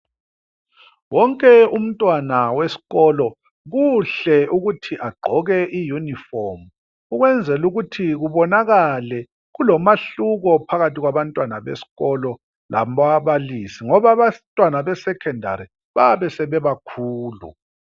Wonke umntwana weskolo kuhle ukuthi agqoke iyunifomu ukwenzela ukuthi kubonakale kulomahluko phakathi kwabantwana besikolo lababalisi ngoba abantwana besekhondali bayabe sebebakhulu.